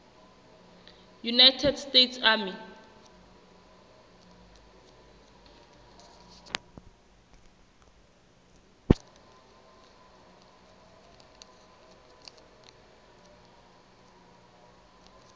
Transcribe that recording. united states army